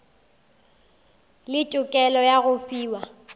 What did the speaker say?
le tokelo ya go fiwa